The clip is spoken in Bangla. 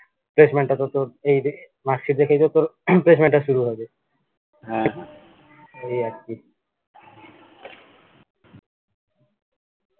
placement টা তো তোর এই যে দেখে তো তোর placement টা শুরু হবে এই আর কি